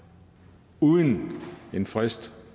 uden en frist